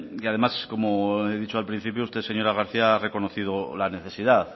además como he dicho al principio usted señora garcía ha reconocido la necesidad